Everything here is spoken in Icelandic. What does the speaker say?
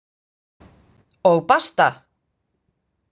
Og basta!